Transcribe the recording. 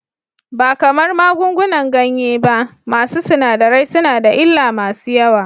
Ba kamar magungunan ganye ba, masu sinadarai suna da illa masu yawa.